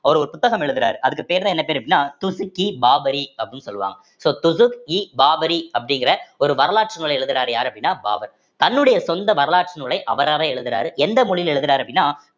அவர் ஒரு புத்தகம் எழுதுறாரு அதுக்கு பேருதான் என்ன பேரு அப்படின்னா துசுக்-இ-பாபுரி அப்படின்னு சொல்லுவாங்க so துசுக்-இ-பாபுரி அப்படிங்கிற ஒரு வரலாற்று நூலை எழுதுறாரு யாரு அப்படின்னா பாபர் தன்னுடைய சொந்த வரலாற்று நூலை அவராவே எழுதுறாரு எந்த மொழியில எழுதுறாரு அப்படின்னா